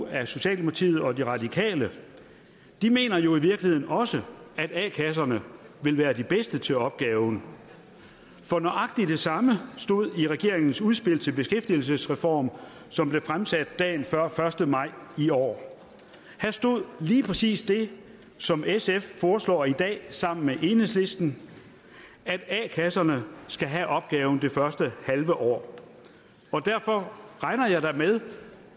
af socialdemokratiet og de radikale mener i virkeligheden også at a kasserne vil være de bedste til opgaven for nøjagtig det samme stod i regeringens udspil til beskæftigelsesreform som blev fremsat dagen før første maj i år her stod lige præcis det som sf foreslår i dag sammen med enhedslisten at a kasserne skal have opgaven det første halve år derfor regner jeg da med